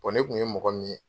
ne kun ye mɔgɔ min ye